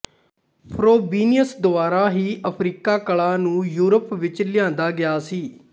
Frobenius ਦੁਆਰਾ ਹੀ Africa ਕਲਾ ਨੂੰ ਯੂਰਪ ਵਿੱਚ ਲਿਆਂਦਾ ਗਿਆ ਸੀ